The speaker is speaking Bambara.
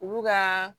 Olu ka